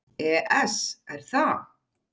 ES Er það?